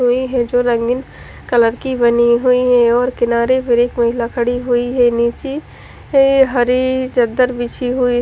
वो ही है जो रंगीन कलर की बनी हुयी है और किनारे पे महिला खड़ी हुयी है निचे हरी चद्दर बिछी हुयी--